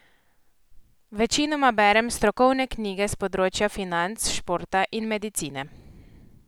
Večinoma berem strokovne knjige s področja financ, športa in medicine.